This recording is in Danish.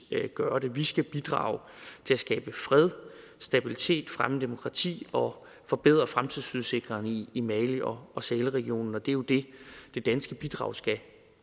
gøre det vi skal bidrage til at skabe fred og stabilitet fremme demokrati og forbedre fremtidsudsigterne i i mali og og sahelregionen og det er jo det det danske bidrag skal